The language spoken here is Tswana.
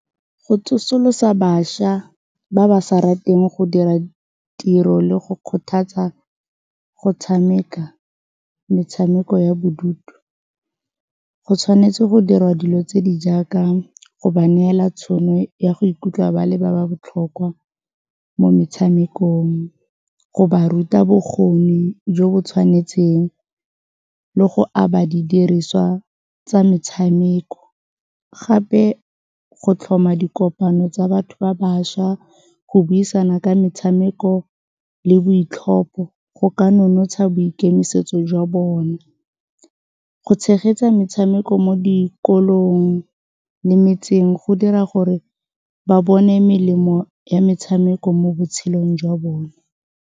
Go tsosolosa bašwa ba ba sa rateng go dira tiro le go kgothatsa go tshameka metshameko ya bodutu, go tshwanetse go dirwa dilo tse di jaaka go ba neela tšhono ya go ikutlwa ba le ba ba botlhokwa mo metshamekong, go ba ruta bokgoni jo bo tshwanetseng le go aba didiriswa tsa metshameko. Gape go tlhoma dikopano tsa batho ba bašwa, go buisana ka metshameko le boitlhopho go ka nonotsha boikemisetso jwa bone. Go tshegetsa metshameko mo dikolong le metseng go dira gore ba bone melemo ya metshameko mo botshelong jwa bone.